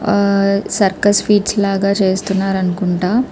ఆహ్ ఆహ్ circus feats లాగ చేస్తున్నారు అనుకుంట --